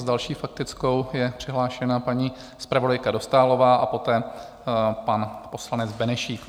S další faktickou je přihlášena paní zpravodajka Dostálová a poté pan poslanec Benešík.